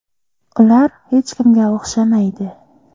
Ular hech kimga o‘xshamaydi.